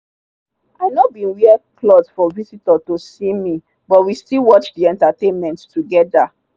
i no bin wear cloth for visitor to see me but we still watch the entertainment together.